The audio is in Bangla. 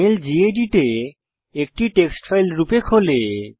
মেল গেদিত এ একটি টেক্সট ফাইল রূপে খোলে